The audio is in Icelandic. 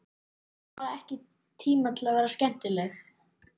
Hún hefur bara ekki tíma til að vera skemmtileg.